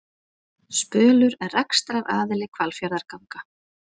Spölur er rekstraraðili Hvalfjarðarganga